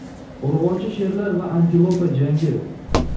Urg‘ochi sherlar va antilopa jangi.